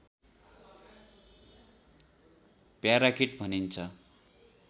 parakeet भनिन्छ